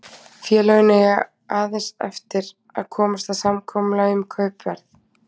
Félögin eiga aðeins eftir að komast að samkomulagi um kaupverð.